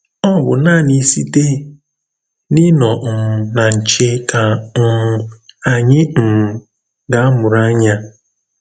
Ọ̀ bụ̀ nánị̀ sị̀té n’ìnọ̀ um nà nchè kà um ányị̀ um gà-àmụ̀rụ̀ ànyà.